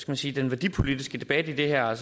man sige den værdipolitiske debat i det her